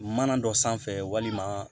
Mana dɔ sanfɛ walima